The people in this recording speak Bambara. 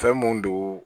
Fɛn mun don